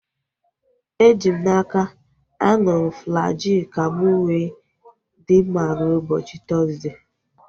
Eji m n'aka, aṅụrụ m Flajil ka mụ wee dị mma rue ụbọchị Tọzdee